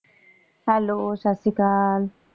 Hello ਸਤਿ ਸ਼੍ਰੀ ਅਕਾਲ।